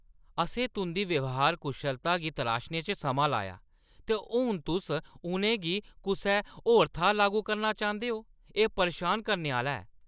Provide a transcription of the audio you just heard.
असें तुंʼदी ब्यहार कुशलता गी तराशने च समां लाया, ते हून तुस उʼनें गी कुसै होर थाह्‌र लागू करना चांह्‌दे ओ? एह् परेशान करने आह्‌ला ऐ।